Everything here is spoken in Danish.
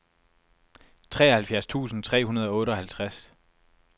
treoghalvfjerds tusind tre hundrede og otteoghalvtreds